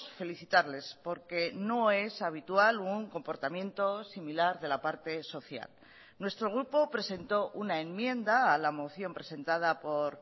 felicitarles porque no es habitual un comportamiento similar de la parte social nuestro grupo presentó una enmienda a la moción presentada por